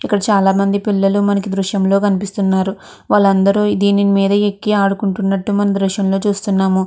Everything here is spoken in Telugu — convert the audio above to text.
ఇక్కడ చాలా మంది పిల్లలు మనకి ఈ దృశ్యంలో కనిపిస్తున్నారు. వాళ్ళందరూ దీని మీద ఎక్కి ఆడుకుంటున్నట్లు మనము ఈ దృశ్యంలో చూస్తున్నాను.